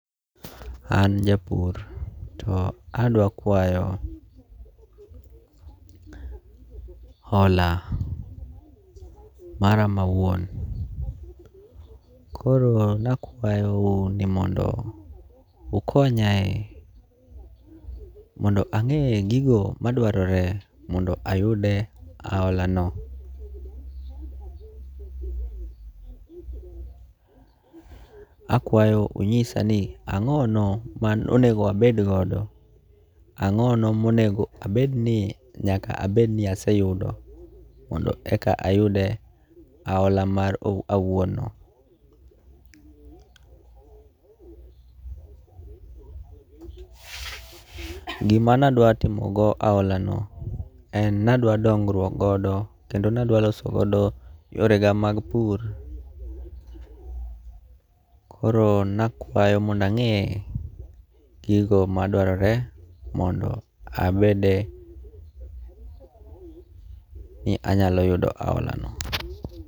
An japur to adwa kwayo hola mara mawuon. Koro nakwayou ni mondo ukonyae mondo ang'eye gigo madwarore mondo ayude ahola no. Akwayo unyisa ni ang'ono ma onego abed godo. Ang'o no monego abed ni nyaka abed ni aseyudo mondo eka ayude ahola mara awuon no. Gima na dwa timogo go ahola no en nadwa dongruok godo kendo nadwa loso godo yore ga mag pur. Koro nakwayo mondo ang'e gigo madwarore mondo abede ni anyalo yudo ahola no.